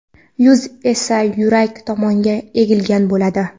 Yuz esa yurak tomonga egilgan bo‘ladi.